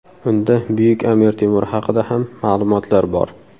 Unda buyuk Amir Temur haqida ham ma’lumotlar bor.